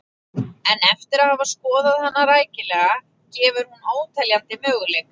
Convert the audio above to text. En eftir að hafa skoðað hana rækilega gefur hún óteljandi möguleika.